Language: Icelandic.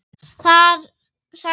Þar sagði